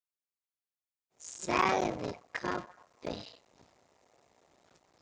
sagði Kobbi.